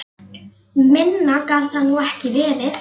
Minna gat það nú ekki verið.